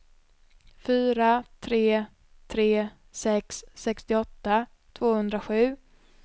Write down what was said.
fyra tre tre sex sextioåtta tvåhundrasju